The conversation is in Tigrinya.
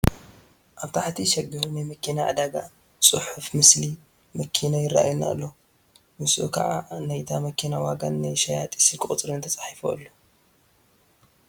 ኣብ ትሕቲ ሸገር ናይ መኪና ዕዳጋ ፅሑፍ ምስሊ መኪና ይርአየና ኣሎ፡፡ ምስኡ ከዓ ናይታ መኪና ዋጋን ናይ ሸያጢ ስልኪ ቁፅርን ተፃሒፉ ኣሎ፡፡